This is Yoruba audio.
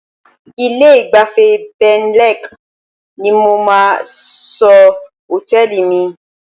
Ilé-ìgbafẹ́ Benlek ni mo máa sọ hòtẹ́ẹ̀lì mi.